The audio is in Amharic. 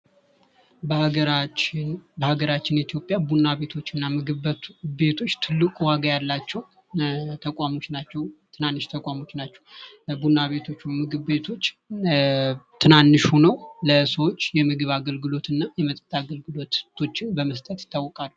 በሀገራችን ኢትዮጵያ ቡና ቤቶች እና ምግብ ቤቶቸ ትልቅ ዋጋ ያላቸዉ ተቋሞች ናቸዉ። ትናንሽ ተቋሞች ናቸዉ። ቡና ቤቶች ምግብ ቤቶች ትናንሽ ሆነዉ ለሰዎች የምግብ አገልግሎት እና የመጠጥ አገልግሎቶችን በመስጠት ይታወቃሉ።